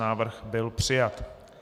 Návrh byl přijat.